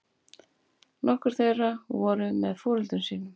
Nokkur þeirra voru með foreldrum sínum